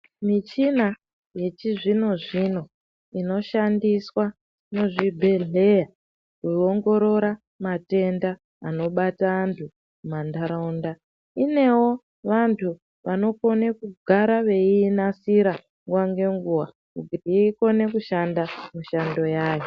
Michina yechizvino zvino inoshandiswa muzvibhehlera kuongorora matenda anobata antu munharaunda. Inevo vantu vanoinatsira nguwq nenguwa kuti ikone kushanda mishando yayo